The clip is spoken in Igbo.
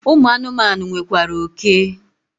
Ụmụ anụmanụ nwekwara oke.